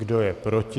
Kdo je proti?